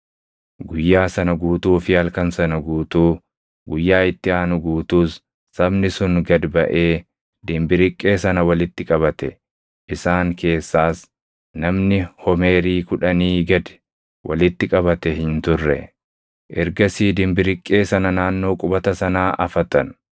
Guyyaa sana guutuu fi halkan sana guutuu, guyyaa itti aanu guutuus sabni sun gad baʼee dimbiriqqee sana walitti qabate; isaan keessaas namni homeerii kudhanii gad walitti qabate hin turre. Ergasii dimbiriqqee sana naannoo qubata sanaa afatan.